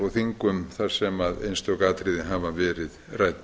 og þingum þar sem einstök atriði hafa verið rædd